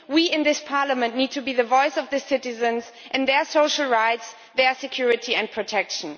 We in this Parliament need to be the voice of the citizens and their social rights, security and protection.